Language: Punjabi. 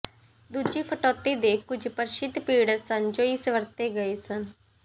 ਦੂਜੀ ਕਟੌਤੀ ਦੇ ਕੁਝ ਪ੍ਰਸਿੱਧ ਪੀੜ੍ਹਤ ਸਨ ਜੋ ਇਸ ਵਰਤੇ ਗਏ ਸਨ